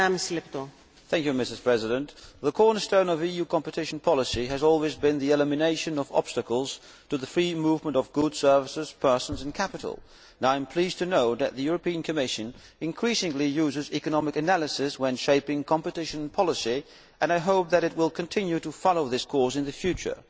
Madam President, the cornerstone of EU competition policy has always been the elimination of obstacles to the free movement of goods, services, persons and capital. I am pleased to know that the European Commission increasingly uses economic analyses when shaping competition policy, and I hope that it will continue to follow this course in the future